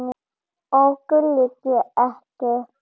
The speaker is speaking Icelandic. Okkur liggur ekkert á